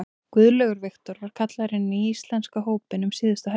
Guðlaugur Victor var kallaður inn í íslenska hópinn um síðustu helgi.